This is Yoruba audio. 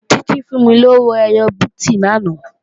Títí fún mí lówó ẹyọ bíìtì lánàá